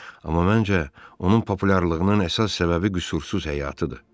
Amma məncə, onun populyarlığının əsas səbəbi qüsursuz həyatıdır.